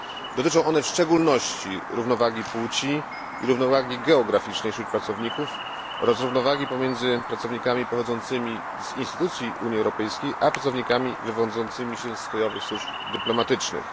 Dotyczą one w szczególności równowagi płci i równowagi geograficznej wśród pracowników oraz równowagi pomiędzy pracownikami pochodzącymi z instytucji Unii Europejskiej i pracownikami wywodzącymi się z krajowych służb dyplomatycznych.